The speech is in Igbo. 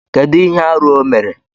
Kedu ihe arụ o mere?